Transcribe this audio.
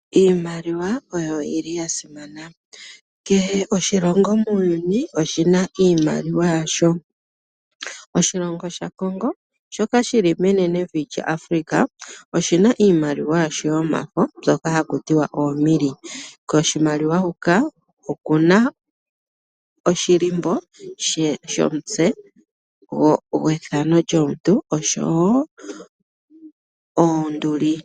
Iimaliwa oyili yasimana . Kehe oshilongo muuyuni oshina iimaliwa yasho . Oshilongo shaCongo shoka shili menenevi lyAfrika , oshina iimaliwa yasho yomafo mbyoka hakutiwa ooMille. Koshimaliwa huka okuna oshilimbo shomutse gwefano lyomuntu oshowo oonduli.